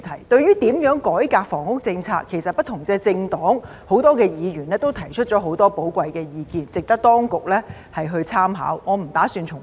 對於如何改革房屋政策，其實不同政黨和很多議員都提出了很多寶貴的意見，值得當局參考，我不打算重複。